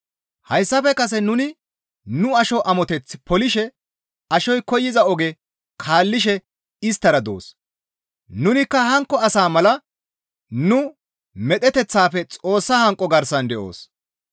Hayssafe kase nuni nu asho amoteth polishe ashoy koyza oge kaallishe isttara doos; nunikka hankko asa mala nu medheteththafe Xoossa hanqo garsan de7oos.